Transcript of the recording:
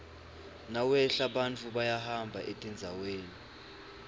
nawehla bantfu bayahamba etindzaweni